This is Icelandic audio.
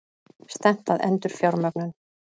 Stefnt að endurfjármögnun